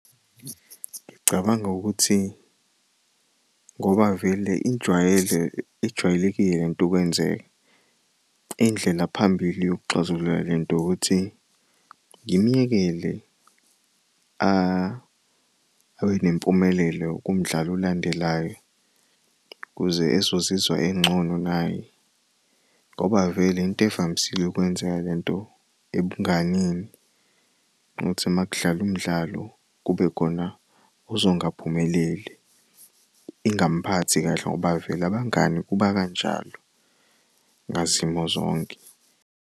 Ngicabanga ukuthi ngoba vele ijwayele, ijwayelekile lent'ukwenzeka indlela phambili yokuxazulula lento ukuthi ngimyekele abe nempumelelo kumdlalo olandelayo ukuze ezozizwa engcono naye ngoba vele intevamisile ukwenzeka lento ebunganeni ukuthi makudlal'umdlalo kubekhona ozongaphumeleli ingamphathi kahle ngoba vele abangani kuba kanjalo ngazimo zonke.